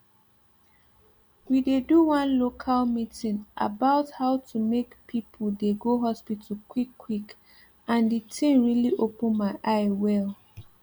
we dey do one local meeting about how to make people dey go hospital quick quick and the thing really open my eye wel